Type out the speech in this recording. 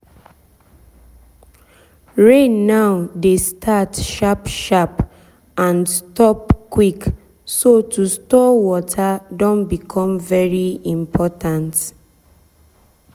rain now dey start sharp sharp and stop quick so to store so to store water don become very important.